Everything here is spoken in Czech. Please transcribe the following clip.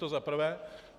To za prvé.